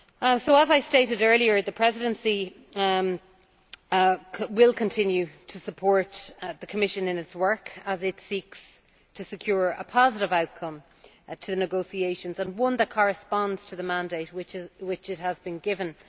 So, as I stated earlier, the Presidency will continue to support the Commission in its work as it seeks to secure a positive outcome to the negotiations and one that corresponds to the mandate which it has been given.